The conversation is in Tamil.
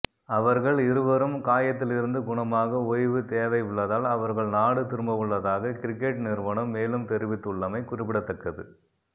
அவர்கள் இருவரும் காயத்தில் இருந்து குணமாக ஓய்வு தேவையுள்ளதால் அவர்கள் நாடு திரும்பவுள்ளதாக கிரிக்கெட் நிறுவனம் மேலும் தெரிவித்துள்ளமை குறிப்பிடத்தக்கது